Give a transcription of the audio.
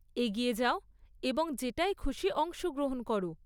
এগিয়ে যাও এবং যেটায় খুশি অংশগ্রহণ করো।